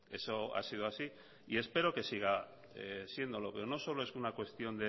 eso ha sido así y espero que siga siéndolo pero no solo es una cuestión